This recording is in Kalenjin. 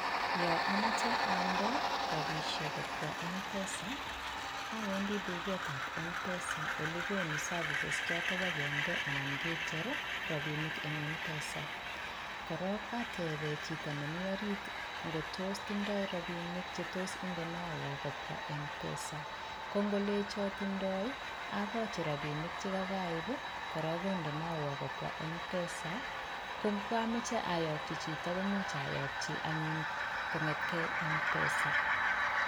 Yo amoche atende rapishek kobwa Mpesa awendi duketab Mpesa olekonu services choto bokinde anan kecher rapinik eng Mpesa korong atepen chito nemi orit ngot tos tindoo rapinik chetos indenowon kobwa Mpesa kongolechon tindoi akochi rapinik chekoip korong kondonowon kobwa Mpesa kongokomoche ayokyich chito komuch ayokyi anyun kong'eteke Mpesa.